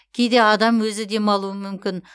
кейде адам өзі демалуы мүмкін